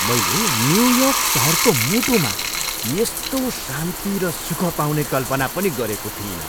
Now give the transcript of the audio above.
मैले न्युयोर्क सहरको मुटुमा यस्तो शान्ति र सुख पाउने कल्पना पनि गरेको थिइनँ!